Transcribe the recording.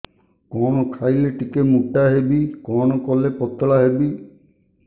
କଣ ଖାଇଲେ ଟିକେ ମୁଟା ହେବି କଣ କଲେ ପତଳା ହେବି